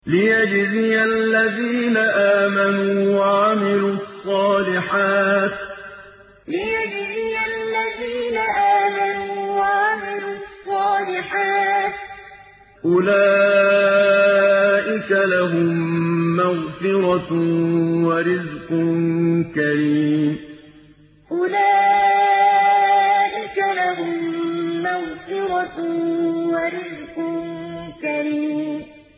لِّيَجْزِيَ الَّذِينَ آمَنُوا وَعَمِلُوا الصَّالِحَاتِ ۚ أُولَٰئِكَ لَهُم مَّغْفِرَةٌ وَرِزْقٌ كَرِيمٌ لِّيَجْزِيَ الَّذِينَ آمَنُوا وَعَمِلُوا الصَّالِحَاتِ ۚ أُولَٰئِكَ لَهُم مَّغْفِرَةٌ وَرِزْقٌ كَرِيمٌ